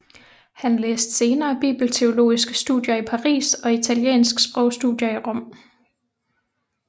Han læste senere bibelteologiske studier i Paris og italiensk sprogstudier i Rom